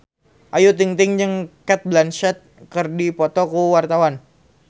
Ayu Ting-ting jeung Cate Blanchett keur dipoto ku wartawan